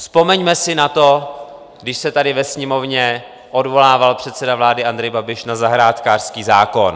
Vzpomeňme si na to, když se tady ve Sněmovně odvolával předseda vlády Andrej Babiš na zahrádkářský zákon.